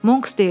Monks deyirdi.